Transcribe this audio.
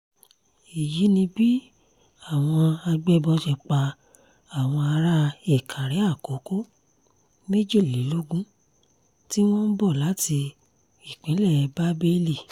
èyí ni bí àwọn àgbébọ̀ ṣe pa àwọn ará ìkàrè-àkókò méjìlélógún tí wọ́n ń bọ̀ láti ìpínlẹ̀ bábélì